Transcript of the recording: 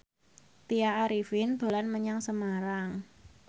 Tya Arifin dolan menyang Semarang